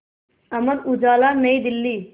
Amar Ujala New Delhi